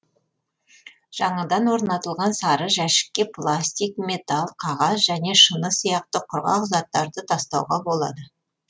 жаңадан орнатылған сары жәшікке пластик металл қағаз және шыны сияқты құрғақ заттарды тастауға болады